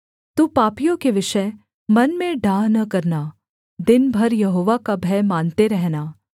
तू पापियों के विषय मन में डाह न करना दिन भर यहोवा का भय मानते रहना